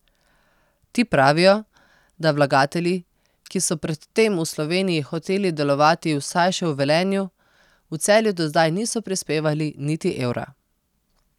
Ti pravijo, da vlagatelji, ki so predtem v Sloveniji hoteli delovati vsaj še v Velenju, v Celju do zdaj niso prispevali niti evra.